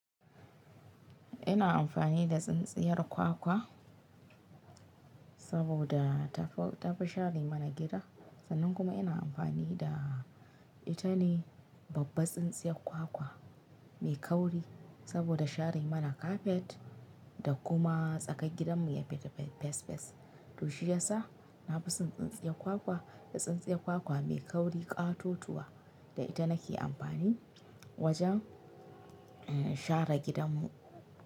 Ina amfani da tsintsiyar kwakwa saboda tafi, tafi share mana gida. Sannan kuma ina amfani da ita ne babbar tsintsiyar kwakwa mai kauri saboda share mana kafet da kuma tsakar gidanmu ya fita fes fes. To shiyasa na fi son tsintsiyar kwakwa da tsintsiyar kwakwa mai kauri ƙatatuwa da ita nake amfani wajen, in, share gidanmu.